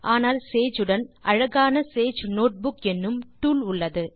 ஆனால் சேஜ் உடன் அழகான சேஜ் நோட்புக் என்னும் டூல் உள்ளது